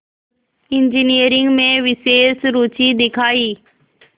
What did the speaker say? engineering में विशेष रुचि दिखाई